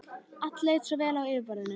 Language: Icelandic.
Allt leit svo vel út á yfirborðinu.